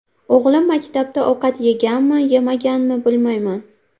O‘g‘lim maktabda ovqat yeganmi yemaganmi bilmayman.